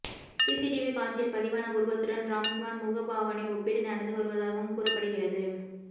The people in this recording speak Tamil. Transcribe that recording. சிசிடிவி காட்சியில் பதிவான உருவத்துடன் ராம்குமார் முகபாவனை ஒப்பீடு நடந்து வருவதாகவும் கூறப்படுகிறது